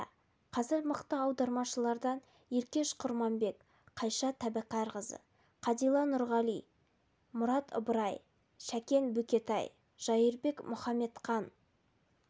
иә қазір мықты аудармашылардан еркеш құрманбек қайша тәбәрәкқызы қадила нұрғали мұрат ыбырай шәкен бөкетай жайырбек мұқаметқан